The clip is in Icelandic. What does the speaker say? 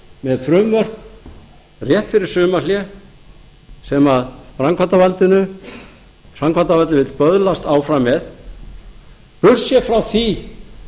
með frumvörp rétt fyrir sumarhlé sem framkvæmdarvaldið vill böðlast áfram með burtséð frá því